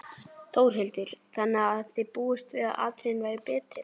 Þórhildur: Þannig að þið búist við að atriðin verði betri?